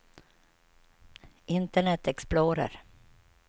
internet explorer